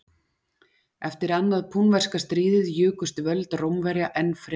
Eftir annað púnverska stríðið jukust völd Rómverja enn frekar.